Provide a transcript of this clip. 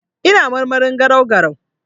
Ina marmarin garau-garau.